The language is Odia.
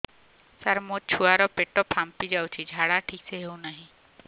ସାର ମୋ ଛୁଆ ର ପେଟ ଫାମ୍ପି ଯାଉଛି ଝାଡା ଠିକ ସେ ହେଉନାହିଁ